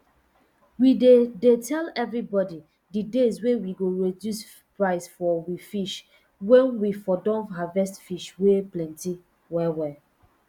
we dey dey tell evribodi d days wey we go reduce price for um fish wen we um don harvest fish wey plenty well well